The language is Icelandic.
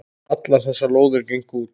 Allar þessar lóðir gengu út.